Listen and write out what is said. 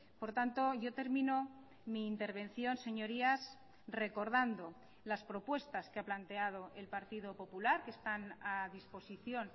por tanto yo termino mi intervención señorías recordando las propuestas que ha planteado el partido popular que están a disposición